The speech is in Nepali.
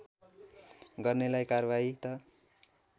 गर्नेलाई कार्वाही त